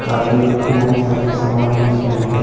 आदि बहुत सारे समान दिखाई दे रहे--